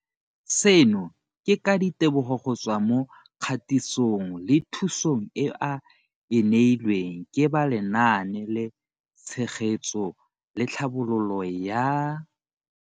Seno ke ka ditebogo go tswa mo katisong le thu song eo a e neilweng ke ba Lenaane la Tshegetso le Tlhabololo ya